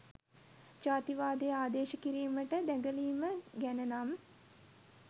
ජාතිවාදෙ ආදේශ කිරීමට දැගලීම ගැනනම්